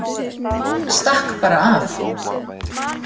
Stakk bara af.